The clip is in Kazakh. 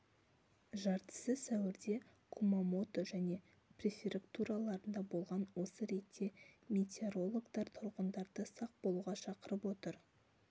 жартысы сәуірде кумамото және префектураларында болған осы ретте метеорологтар тұрғындарды сақ болуға шақырып отыр